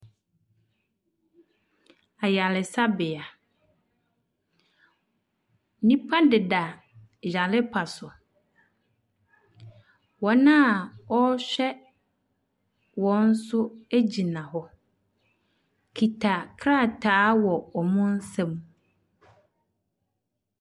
Ayaresabea, nnipa deda yarempa so. Wɔn a wɔrehwɛ wɔn nso gyina hɔ kita krataa wɔ wɔn nsam.